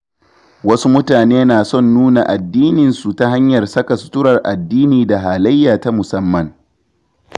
Wasu mutane na son su nuna addininsu ta hanyar saka suturar addini da halayya ta musamman.